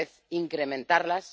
tal vez, incrementarlas.